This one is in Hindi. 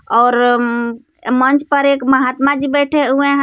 और हम्म मंच पर एक महात्मा जी बैठे हुए हैं.